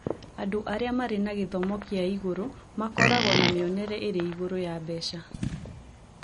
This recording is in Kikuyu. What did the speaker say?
Andũ arĩa marĩ na gĩthomo kĩa igũrũ makoragwo na mĩonere ĩrĩ igũrũ ya mbeca